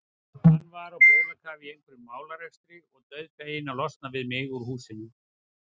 Hann var á bólakafi í einhverjum málarekstri og dauðfeginn að losna við mig úr húsinu.